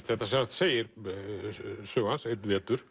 segir sögu hans einn vetur